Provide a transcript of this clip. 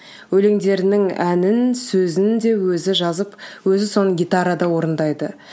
өлеңдерінің әнін сөзін де өзі жазып өзі соны гитарада орындайды